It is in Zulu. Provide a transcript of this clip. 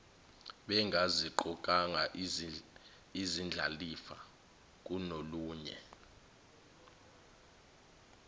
bengaziqokanga izindlalifa kunolunye